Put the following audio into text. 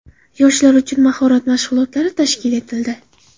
Yoshlar uchun mahorat mashg‘ulotlari tashkil etildi.